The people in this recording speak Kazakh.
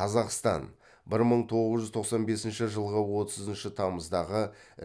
қазақстан бір мың тоғыз жүз тоқсан бесінші жылғы отызыншы тамыздағы